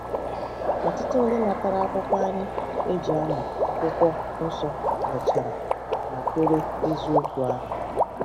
Ọtụtụ ndị natara akwụkwọ anyị e ji amụ Akwụkwọ Nsọ mechara nakwere eziokwu ahụ.